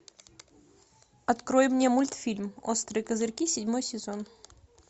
открой мне мультфильм острые козырьки седьмой сезон